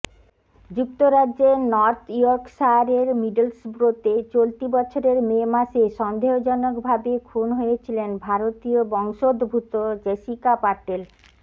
যুক্তরাজ্যের নর্থ ইয়র্কশায়ারের মিডলসব্রোতে চলতি বছরের মে মাসে সন্দেহজনকভাবে খুন হয়েছিলেন ভারতীয় বংশোদ্ভূত জেসিকা পাটেল